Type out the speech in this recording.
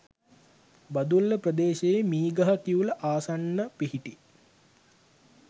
බදුල්ල ප්‍රදේශයේ මීගහකිවුල ආසන්න පිහිටි